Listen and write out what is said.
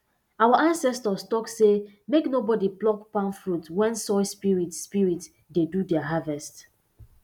our ancestors talk say make nobody pluck palm fruit when soil spirits spirits dey do their harvest